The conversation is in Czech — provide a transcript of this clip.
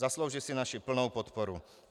Zaslouží si naši plnou podporu.